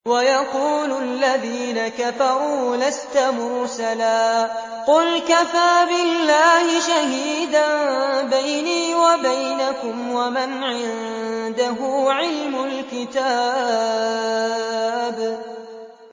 وَيَقُولُ الَّذِينَ كَفَرُوا لَسْتَ مُرْسَلًا ۚ قُلْ كَفَىٰ بِاللَّهِ شَهِيدًا بَيْنِي وَبَيْنَكُمْ وَمَنْ عِندَهُ عِلْمُ الْكِتَابِ